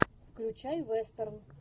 включай вестерн